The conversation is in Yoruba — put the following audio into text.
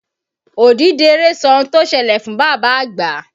Odídẹrẹ́ sọ ohun tó ṣẹlẹ̀ fún bàbá àgbà.